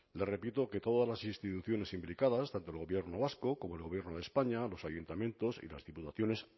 le repito que todas las instituciones implicadas tanto el gobierno vasco como el gobierno de españa los ayuntamientos y las diputaciones